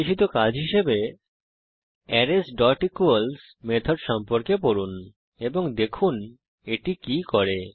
নির্দেশিত কাজ হিসাবে arraysইকুয়ালস মেথড সম্পর্কে পড়ুন এবং দেখুন এটি কি করে